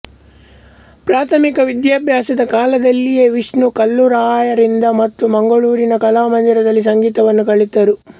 ಪ್ರಾಥಮಿಕ ವಿದ್ಯಾಭ್ಯಾಸದ ಕಾಲದಲ್ಲಿಯೇ ವಿಷ್ಣು ಕಲ್ಲೂರಾಯರಿಂದ ಮತ್ತು ಮಂಗಳೂರಿನ ಕಲಾಮಂದಿರದಲ್ಲಿ ಸಂಗೀತವನ್ನು ಕಲಿತರು